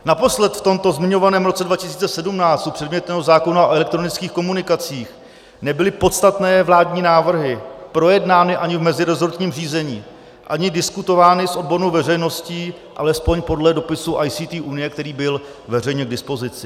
Naposled v tomto zmiňovaném roce 2017 u předmětného zákona o elektronických komunikacích nebyly podstatné vládní návrhy projednány ani v mezirezortním řízení, ani diskutovány s odbornou veřejností, alespoň podle dopisu ICT UNIE, který byl veřejně k dispozici.